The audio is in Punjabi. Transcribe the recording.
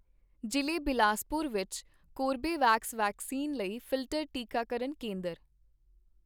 ਜ਼ਿਲ੍ਹੇ ਬਿਲਾਸਪੁਰ ਵਿੱਚ ਕੋਰਬੇਵੈਕਸ ਵੈਕਸੀਨ ਲਈ ਫਿਲਟਰ ਟੀਕਾਕਰਨ ਕੇਂਦਰ।